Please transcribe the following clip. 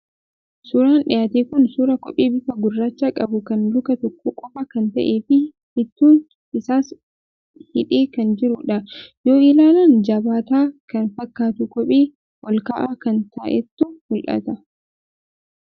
Suuraan dhiyaate kun suuraa kophee bifa gurraacha qabuu kan luka tokkoo qofaa kan ta'ee fi hiituun isaas hidhee kan jirudha. Yoo ilaalan jabaataa kan fakkaatu kophee olka'aa kan ta'etu mul'ata.